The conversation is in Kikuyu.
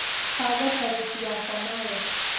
panga tarĩki yakwa nawe tũ